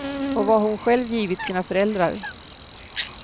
Och vad hon själv givit sina föräldrar.